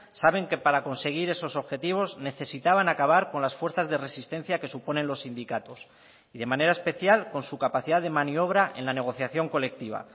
saben que para conseguir esos objetivos necesitaban acabar con las fuerzas de resistencia que suponen los sindicatos y de manera especial con su capacidad de maniobra en la negociación colectiva